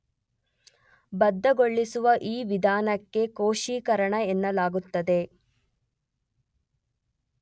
ಬದ್ಧಗೊಳಿಸುವ ಈ ವಿಧಾನಕ್ಕೆ 'ಕೋಶೀಕರಣ' ಎನ್ನಲಾಗುತ್ತದೆ.